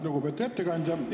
Lugupeetud ettekandja!